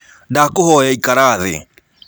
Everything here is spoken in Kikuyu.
Ndakũhoya ĩkara thĩ.